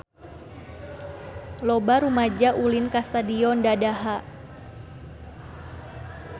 Loba rumaja ulin ka Stadion Dadaha